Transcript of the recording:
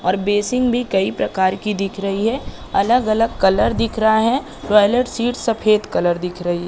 और बेसिन भी कहि प्रकार की दिख रही है अलग-अलग कलर दिख रहा है टॉयलेट सीट सफेद कलर दिख रही --